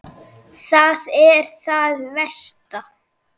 Það er það versta.